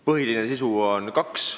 Sisulisi põhimuudatusi on kaks.